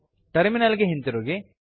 terminal ಗೆ ಹಿಂತಿರುಗಿ